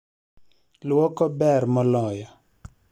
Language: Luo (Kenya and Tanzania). Luoko ber moloyo